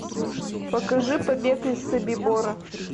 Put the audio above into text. покажи побег из собибора